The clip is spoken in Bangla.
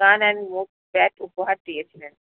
run and move tag উপহার দিয়েছিলেন